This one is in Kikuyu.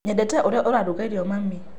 Nyendete ũrĩa ũraruga irio mami.